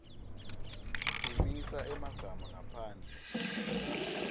phimisa emagama ngaphandle